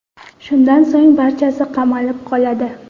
Shundan so‘ng barchasi qamalib qoladi.